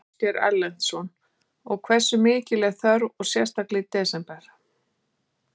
Ásgeir Erlendsson: Og hversu mikil er þörfin og sérstaklega í desember?